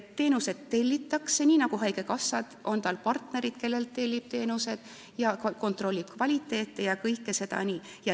Teenused tellitakse, nii nagu haigekassal, on ka tal partnerid, kellelt tellib teenused, ta kontrollib kvaliteeti ja teeb kõike seda.